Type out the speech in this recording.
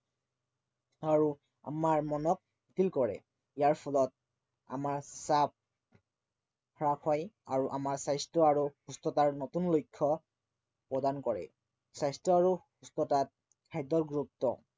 আৰু আমাৰ মনত কৰে ইয়াৰ ফলত আমাৰ হ্ৰাস হয় আৰু আমাৰ স্বাস্থ্য় আৰু সুস্থতাৰ নতুন লক্ষ্য় পৰদান কৰে। স্বাস্থ্য় আৰু সুস্থতাত খাদ্য়ৰ গুৰুত্ব